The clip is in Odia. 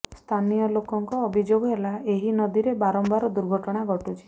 ସ୍ଥାନୀୟ ଲୋକଙ୍କ ଅଭିଯୋଗ ହେଲା ଏହି ନଦୀରେ ବାରମ୍ବାର ଦୁର୍ଘଟଣା ଘଟୁଛି